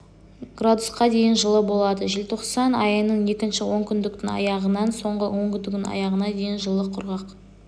градусқа дейін жылы болады желтоқсан айының екінші онкүндіктің аяғынан соңғы онкүндіктің аяғына дейін жылы құрғақ